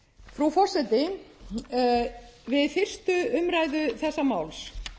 frú forseti við fyrstu umræðu þessa máls